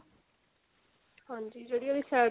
ਹਾਂਜੀ ਜਿਹੜੀ ਉਹਦੀ side ਸੀਨ